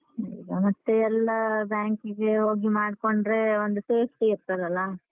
ಮತ್ತೆ ಎಲ್ಲ bank ಇಗೆ ಹೋಗಿ ಮಾಡ್ಕೊಂಡ್ರೆ ಒಂದು safety ಇರ್ತದಲ್ಲ?